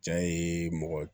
Ja ye mɔgɔ